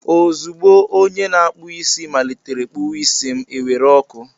Ozugbo onye na-akpụ isi malitere kpụwa isi m, e were ọkụ.